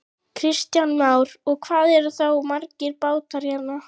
Kristján Már: Og hvað eru þá margir bátar hérna?